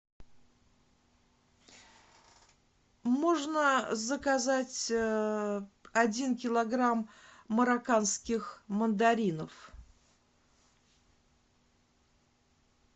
можно заказать один килограмм марокканских мандаринов